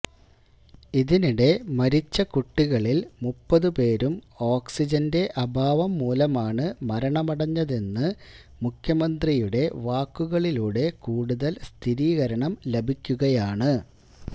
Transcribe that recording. ഇതിനിടെ മരിച്ച കുട്ടികളില് മുപ്പത് പേരും ഓക്സിജന്റെ അഭാവം മൂലമാണ് മരണമടഞ്ഞതെന്ന് മുഖ്യമന്ത്രിയുടെ വാക്കുകളിലൂടെ കൂടുതല് സ്ഥിരീകരണം ലഭിക്കുകയാണ്